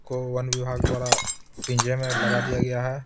को वन विभाग द्वारा पिंजे में लगा दिया गया है।